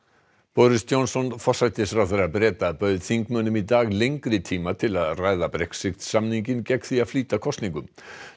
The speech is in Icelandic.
boris Johnson forsætisráðherra Breta bauð þingmönnum í dag lengri tíma til að ræða Brexit samninginn gegn því að flýta kosningum